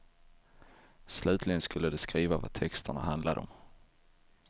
Slutligen skulle de skriva vad texterna handlade om.